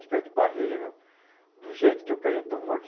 Se eu cair de barreira, do jeito que eu caí, eu estou morto.